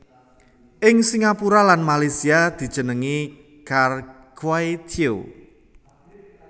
Ing Singapura lan Malaysia dijenengi Char Kway Teow